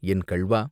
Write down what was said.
என் கள்வா!..